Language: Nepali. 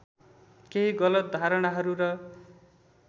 केही गलत धारणाहरू र